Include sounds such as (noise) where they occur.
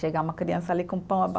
Chegar uma criança ali com pão a (unintelligible)